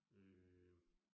Øh